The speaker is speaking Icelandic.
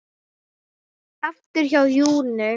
Aftur hjá Lúnu